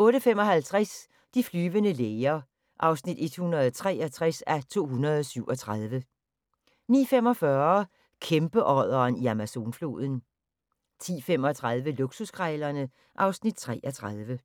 08:55: De flyvende læger (163:237) 09:45: Kæmpeodderen i Amazonfloden 10:35: Luksuskrejlerne (Afs. 33)